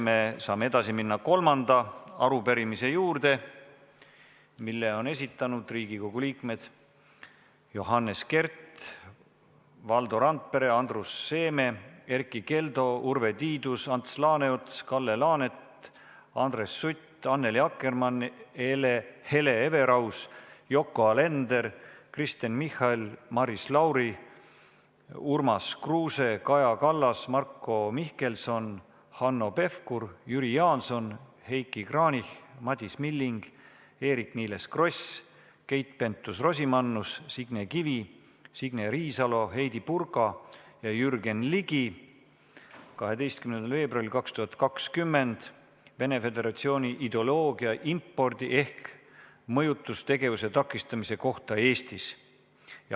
Me saame minna edasi kolmanda arupärimise juurde, mille on esitanud Riigikogu liikmed Johannes Kert, Valdo Randpere, Andrus Seeme, Erkki Keldo, Urve Tiidus, Ants Laaneots, Kalle Laanet, Andres Sutt, Annely Akkermann, Hele Everaus, Yoko Alender, Kristen Michal, Maris Lauri, Urmas Kruuse, Kaja Kallas, Marko Mihkelson, Hanno Pevkur, Jüri Jaanson, Heiki Kranich, Madis Milling, Eerik-Niiles Kross, Keit Pentus-Rosimannus, Signe Kivi, Signe Riisalo, Heidy Purga ja Jürgen Ligi 12. veebruaril 2020, see on Vene Föderatsiooni ideoloogia impordi ehk mõjutustegevuse takistamise kohta Eestis.